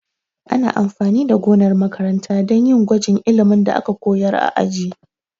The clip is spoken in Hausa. Ana amfani da gonar makaranta dan yin gwajin ilimin da aka koyar a aji